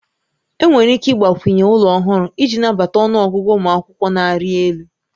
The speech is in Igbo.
Enwere ike ịgbakwunye ụlọ ọhụrụ iji nabata ọnụ ọgụgụ ụmụ akwụkwọ na-arị elu